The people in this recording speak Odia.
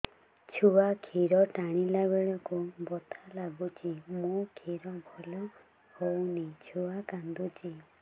ଛୁଆ ଖିର ଟାଣିଲା ବେଳକୁ ବଥା ଲାଗୁଚି ମା ଖିର ଭଲ ହଉନି ଛୁଆ କାନ୍ଦୁଚି